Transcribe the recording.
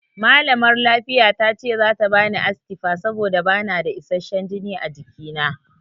Malamar lafiya tace zata bani Astifa saboda bana da isasshen jini a jiki.